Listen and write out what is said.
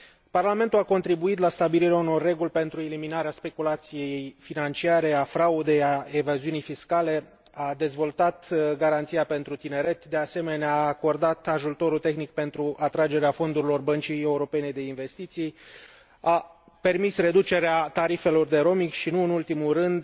Parlamentul a contribuit la stabilirea unor reguli pentru eliminarea speculației financiare a fraudei, a evaziunii fiscale, a dezvoltat garanția pentru tineret, de asemenea, a acordat ajutorul tehnic pentru atragerea fondurilor Băncii Europene de Investiții, a permis reducerea tarifelor de roaming și, nu în ultimul rând,